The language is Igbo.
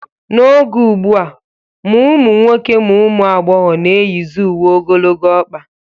N'oge ugbu a, ma ụmụ nwoke ma ụmụ agbọghọ na-eyizi uwe ogologo ọkpa